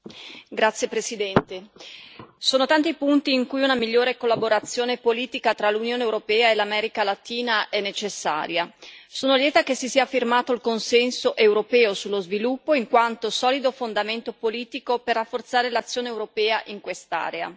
Signor Presidente, onorevoli colleghi, sono tanti i punti in cui una migliore collaborazione politica tra l'Unione europea e l'America Latina è necessaria. Sono lieta che si sia firmato il consenso europeo sullo sviluppo in quanto solido fondamento politico per rafforzare l'azione europea in quest'area.